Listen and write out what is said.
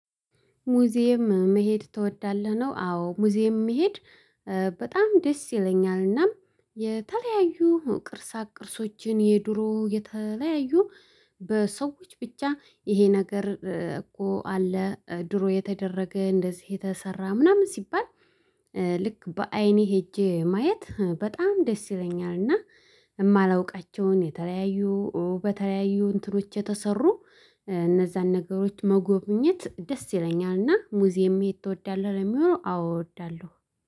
ሙዚየም መሄድ ትወዳለህ? ነው አዎ ሙዚየም መሄድ በጣም ደስ ይለኛልና የተለያዩ ቅርሳቅ ቅርሶችን የድሮ የተለያዩ በሰዎች ብቻ ይሄ ነገር እኮ አለ ድሮ የተደረገ እንደዚህ የተሰራ ምናምን ሲባል ልክ በአይኔ ሄጄ ማየት በጣም ደስ ይለኛል። እና የማላውቃቸውን የተለያዩ በተለያዩ እንትኖች የተሰሩ እነዛን ነገሮች መጎብኘት ደስ ይለኛልና ሙዚየም የት ትወዳለህ ለሚሆነው አዎ እወዳለሁ።